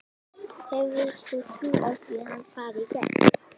Hefur þú trú á því að hann fari í gegn?